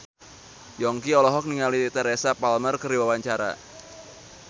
Yongki olohok ningali Teresa Palmer keur diwawancara